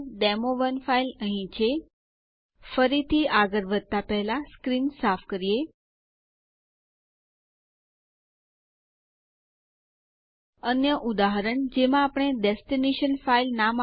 હવે નવા યુઝર માટે પાસવર્ડ બદલાઈ ગયેલ છે